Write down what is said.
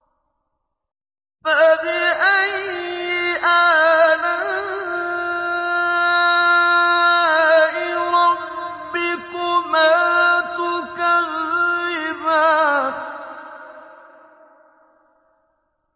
فَبِأَيِّ آلَاءِ رَبِّكُمَا تُكَذِّبَانِ